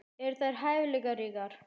Eru þeir hæfileikaríkir?